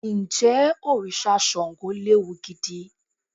Ǹjẹ́ òrìṣà Ṣàngó léwu gidi?